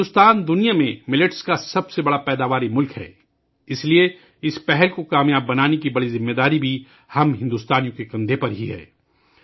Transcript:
بھارت دنیا میں موٹے اناج کا سب سے بڑا پیدا کرنے والا ملک ہے، اس لئے اس پہل کو کامیاب بنانے کی بڑی ذمہ داری بھی ہم بھارتیوں کے کندھوں پر ہے